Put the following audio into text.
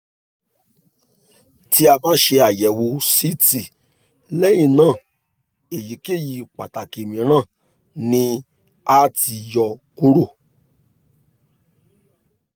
ti a ba ṣe ayẹwo ct lẹhinna eyikeyi ipo pataki miiran ni a ti yọ kuro